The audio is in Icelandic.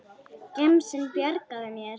Gemsinn bjargar mér.